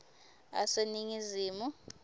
aseningizimu